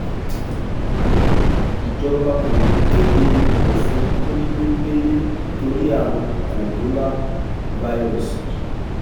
ìjọba kò ní í kéde òfin kónílé-gbẹ́lé nítorí àrùn kòǹgóláfàírọ́ọ̀sì